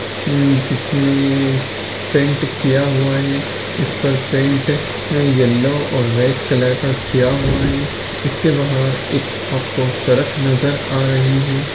Paint किया हुआ है इसका पेंट येलो और रेड कलर का किया हुआ है इसके बाहर एक आपको सड़क नज़र आ रही है।